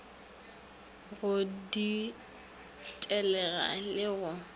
go ditelega le ge go